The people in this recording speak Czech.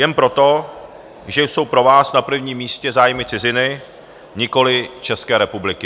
Jen proto, že jsou pro vás na prvním místě zájmy ciziny, nikoli České republiky.